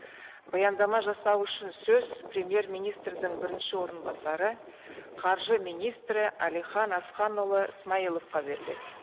баяндама жасау үшін сөз премьер министрдің бірінші орынбасары қаржы министрі әлихан асханұлы смайыловқа беріледі